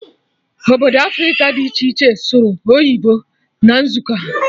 Obodo Africa dị iche iche sụrụ oyibo na nzukọ ha